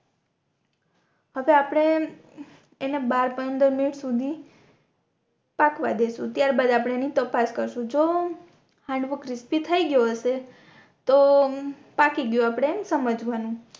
હવે આપણે એના બાર પંદર મિનટ સુધી પાકવા દેસુ ત્યાર બાદ આપણે એની તપાસ કરશું જો હાંડવો ક્રિસ્પિ થઈ ગયો હશે તો પાકી ગયો આપણે સમજવાનું